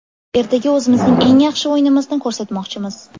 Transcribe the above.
Ertaga o‘zimizning eng yaxshi o‘yinimizni ko‘rsatmoqchimiz.